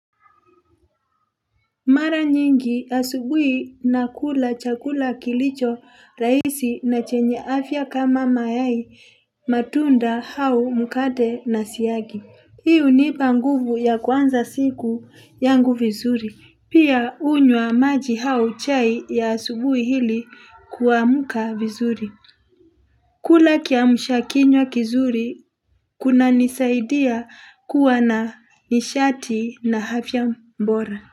Mara nyingi asubuhi na kula chakula kilicho rahisi na chenye afya kama mayai matunda hao mukate na siyagi. Hii unipanguvu ya kuanza siku yangu vizuri. Pia hunywa maji au chai ya asubuhi ili kuamuka vizuri. Kula kiamsha kinywa kizuri kuna nisaidia kuwa na nishati na afya bora.